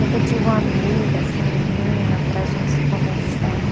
Nunca tive uma amiga assim, menina, para a gente se conversar.